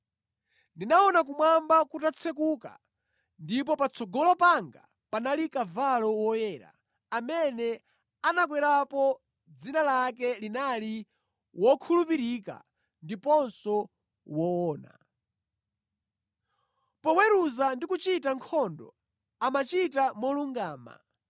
Ndinaona kumwamba kutatsekuka ndipo patsogolo panga panali kavalo woyera, amene anakwerapo dzina lake linali Wokhulupirika ndiponso Woona. Poweruza ndi kuchita nkhondo, amachita molungama.